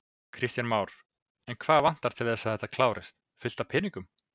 Kristján Már: En hvað vantar til þess að þetta klárist, fullt af peningum?